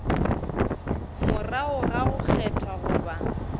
morago ga go kgethwa goba